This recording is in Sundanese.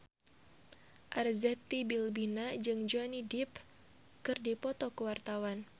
Arzetti Bilbina jeung Johnny Depp keur dipoto ku wartawan